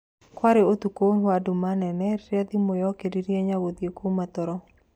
Kwarĩ ũtuko wa nduma nene, rĩrĩa thimũ yokeririe Nyanguthie kuuma toro.